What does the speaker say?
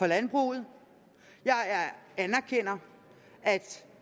landbruget jeg anerkender at